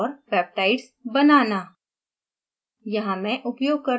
dna अणु और peptides बनाना